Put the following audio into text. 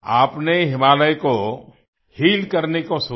आपने हिमालय को हील करने की सोची